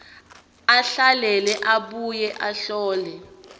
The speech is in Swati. ahlahlele abuye ahlole